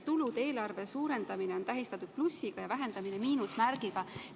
Tulude eelarve suurendamine on tähistatud plussiga ja vähendamine miinusmärgiga.